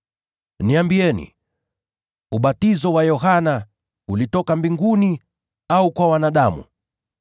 Niambieni, je, ubatizo wa Yohana ulitoka mbinguni au kwa wanadamu?”